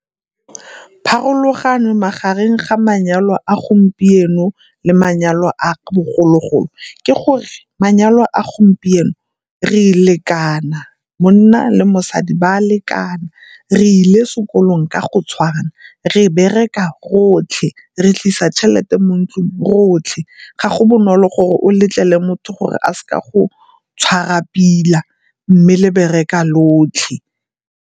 Pharologano magareng ga manyalo a gompieno le manyalo a bogologolo ke gore manyalo a gompieno re lekana, monna le mosadi ba a lekana, re ile sekolong ka go tshwana, re bereka rotlhe, re tlisa tšhelete mo ntlung rotlhe. Ga go bonolo gore o letlele motho gore a seka go tshwara pila mme le bereka lotlhe.